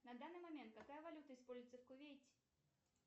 на данный момент какая валюта используется в кувейте